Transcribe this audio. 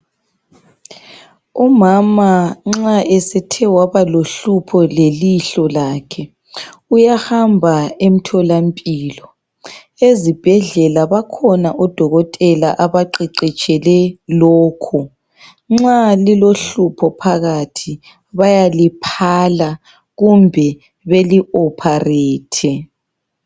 Umama nxa esethe waba lohlupho lelihlo lakhe uyahamba emtholampilo, ezibhedlela bakhona odokotela abaqeqetshele lokho, nxa lilohlupho phakathi bayaliphala kumbe beli "Operate".